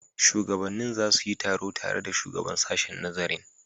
Shugabannin za su yi taro tare da shugaban sashen nazarin.